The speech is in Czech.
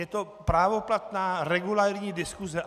Je to právoplatná regulérní diskuse.